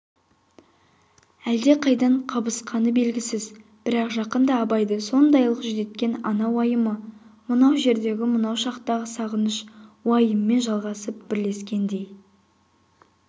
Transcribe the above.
әлдеқайдан қабысқаны белгісіз бірақ жақында абайды сондайлық жүдеткен ана уайымы мынау жердегі мынау шақтағы сағыныш уайымымен жалғасып бірлескендей